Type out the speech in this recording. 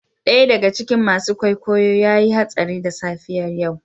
Daya daga cikin masu kwaikwayo ya yi hatsari da safiyar yau.